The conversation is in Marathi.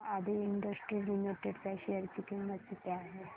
सांगा आदी इंडस्ट्रीज लिमिटेड च्या शेअर ची किंमत किती आहे